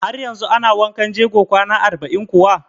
Har yanzu ana wankan jego kwana arba'in kuwa?